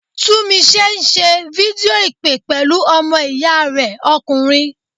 Tunmise ń ṣe fídíò ìpè pẹ̀lú ọmọ ìyá rẹ̀ ọkùnrin.